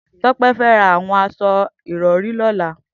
Tope fè rà awọn aṣọ-àpó irọ̀ri lọlá